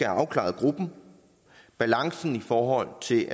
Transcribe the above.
afklaret gruppen balancen i forhold til